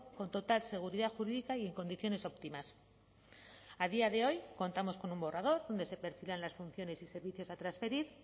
con total seguridad jurídica y en condiciones óptimas a día de hoy contamos con un borrador donde se perfilan las funciones y servicios a transferir